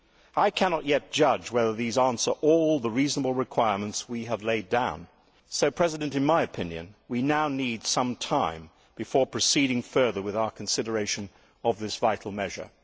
I cannot yet judge whether these answer all the reasonable requirements we have laid down, so in my opinion, we now need some time before proceeding further with our consideration of this vital measure.